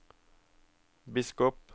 biskop